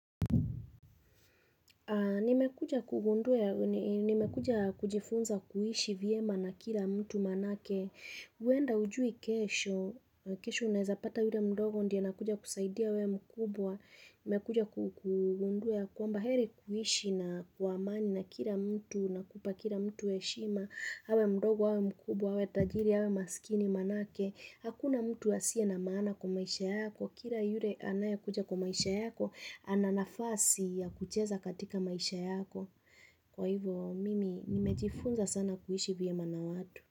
Ni mekuja kugundua, ni mekuja kujifunza kuhishi viema na kila mtu maanake, uenda hujui kesho, kesho unazapata yule mdogo ndia na kuja kusaidia we mkubwa, mekuja kukundue kwa mbaheri kuhishi na kuamani na kila mtu, nakupa kila mtu we shima, hawe mdogo, hawe mkubwa, hawe tajiri, hawe maskini manake, hakuna mtu asia na maana kwa maisha yako, kila yule anaya kuja kwa maisha yako, Ananafasi ya kucheza katika maisha yako Kwa hivyo mimi nimejifunza sana kuishi vye ma na watu.